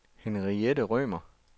Henriette Rømer